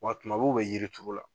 Wa tuma bɛɛ u bɛ yiri turu la.